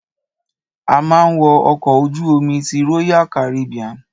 A ma wo ọkọ̀ ojú omi ti royal Caribbean.